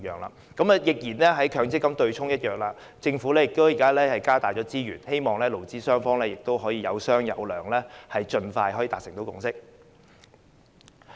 正如取消強制性公積金的對沖機制一樣，政府現時增加資源，希望勞資雙方有商有量，盡快達成共識。